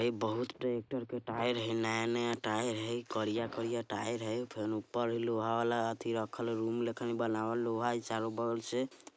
ये बहुत ट्रैक्टर के टायर है नया-नया टायर है करिया - करिया टायर है फिर ऊपर लोहा वाला अति रक्खल रूम लेखन बनावल लोहा है चारो बगल से |